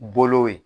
Bolo ye